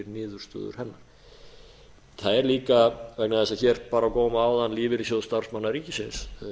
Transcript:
niðurstöður hennar það er líka vegna þess að hér bar á góma áðan lífeyrissjóð starfsmanna ríkisins